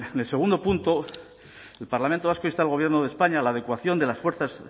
el segundo punto el parlamento vasco insta al gobierno de españa a la adecuación de las fuerzas